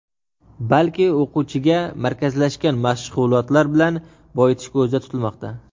balki o‘quvchiga markazlashgan mashg‘ulotlar bilan boyitish ko‘zda tutilmoqda.